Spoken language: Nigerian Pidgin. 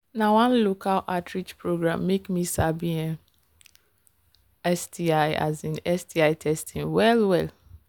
na one local outreach program make me sabi um sti um sti testing well well